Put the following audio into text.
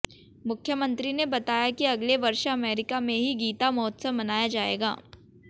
मुख्यमंत्री ने बताया कि अगले वर्ष अमेरिका में भी गीता महोत्सव मनाया जाएगा